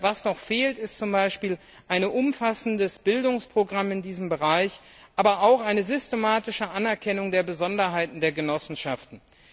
Was noch fehlt, ist zum Beispiel ein umfassendes Bildungsprogramm in diesem Bereich, aber auch eine systematische Anerkennung der Besonderheiten der Genossenschaften.